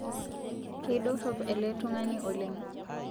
Keidorop ele tung'ani oleng